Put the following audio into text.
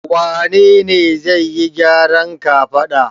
Wane ne zai yi gyaran kafada?